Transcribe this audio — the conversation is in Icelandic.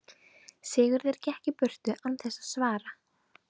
Sigurður gekk burt án þess að svara.